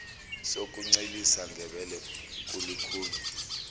sokuncelisa ngebele kulukhuni